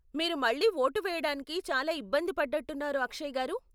మీరు మళ్ళీ ఓటు వేయడానికి చాలా ఇబ్బంది పడ్డట్టున్నారు అక్షయ్ గారు.